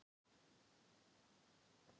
Til að kæla reiðina í brjóstinu á mér.